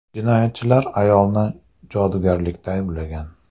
Jinoyatchilar ayolni jodugarlikda ayblagan.